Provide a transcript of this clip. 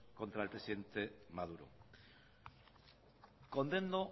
contra el presidente maduro condeno